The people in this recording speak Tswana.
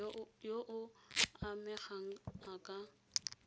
yo o amegang a ka